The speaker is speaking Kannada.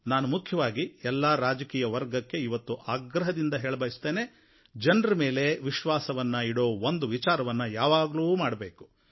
ನಾನು ಮುಖ್ಯವಾಗಿ ಎಲ್ಲಾ ರಾಜಕೀಯ ವರ್ಗಕ್ಕೆ ಇವತ್ತು ಆಗ್ರಹದಿಂದ ಹೇಳಬಯಸುತ್ತೇನೆ ಜನರ ಮೇಲೆ ವಿಶ್ವಾಸವನ್ನು ಇಡುವ ಒಂದು ವಿಚಾರವನ್ನು ಯಾವಾಗಲೂ ಮಾಡಬೇಕು